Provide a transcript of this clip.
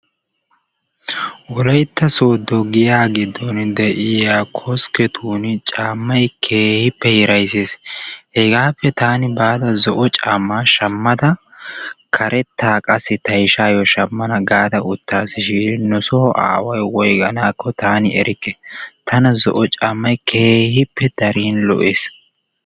Wolaytta soodo giyaa giddon de'iyaa koskeetun caammay keehippe hirayssees. Hegaappe taani baada zo"o caammaa shaammada karettaa qassi ta ishayoo shammana gaada utaasishiin nusoo aaway woygaanko taani erikke. Tana zo"o caammay keehippe darin lo"ees.